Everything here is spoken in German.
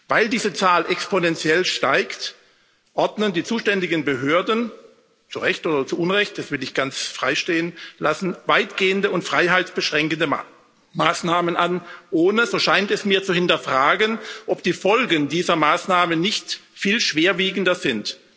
Weil diese Zahl exponentiell steigt, ordnen die zuständigen Behörden zu Recht oder zu Unrecht, das will ich ganz frei stehen lassen weitgehende und freiheitsbeschränkende Maßnahmen an, ohne, so scheint es mir, zu hinterfragen, ob die Folgen dieser Maßnahmen nicht viel schwerwiegender sind.